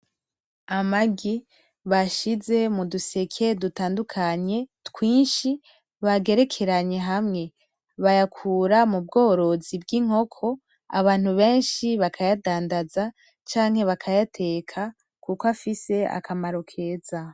Amagi bashize muduseke dutandukanye twinshi, bagerekeranye hamwe. Bayakura mu bgorozi bg'inkoko abantu benshi bakayadandaza, canke bakayateka kuko afsie akamaro keza.